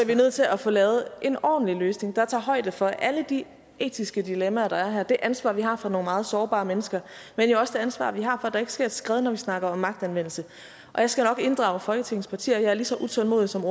vi nødt til at få lavet en ordentlig løsning der tager højde for alle de etiske dilemmaer der er her og det ansvar vi har for nogle meget sårbare mennesker men jo også det ansvar vi har for at der ikke sker et skred når vi snakker om magtanvendelse jeg skal nok inddrage folketingets partier og jeg er lige så utålmodig som